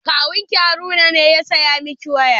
Kawun ki Haruna ne ya saya miki waya?